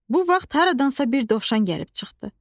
Bu vaxt haradansa bir dovşan gəlib çıxdı.